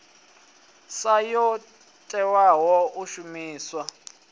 sa yo tewaho u shumiwa